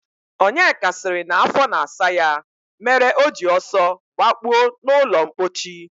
Onyeka sịrị na afọ na-asa ya mere o ji ọsọ gbakpuo n'ụlọmkpochi